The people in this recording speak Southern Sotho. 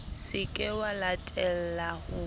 se ke wa latella ho